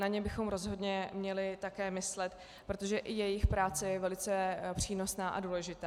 Na ně bychom rozhodně měli také myslet, protože i jejich práce je velice přínosná a důležitá.